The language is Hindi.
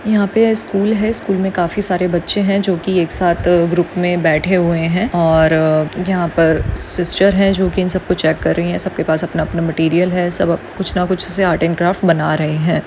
यहा पे स्कूल है स्कूल मे काफी सारे बच्चे है जो की एक साथ ग्रुप मे बैठे हुए है और यहा पर सिस्टर है जो की इन सबको चेक कर रही है सबके पास अपना अपना मटेरियल है सब अब कुछ ना कुछ से आर्ट अँड क्राफ्ट बना रहे है।